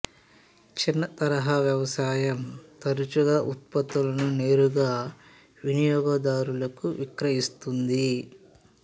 చిన్న తరహా వ్యవసాయం తరచుగా ఉత్పత్తులను నేరుగా వినియోగదారులకు విక్రయిస్తుంది